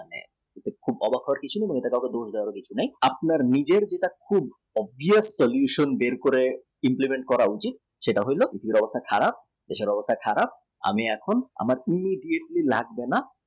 মনে কর নিজের কাউ কে দোষ দাও আপনি যে নিজের যেটা ক্ষুত্‍ দেরি করে implement করা উচিত সেটা হইত খারাপ আমি এখন আমার অন্য দিক গুলো নামবো না॰